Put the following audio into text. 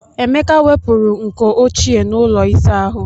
Emeka wepụrụ nkọ ochie n'ụlọ ịsa ahụ.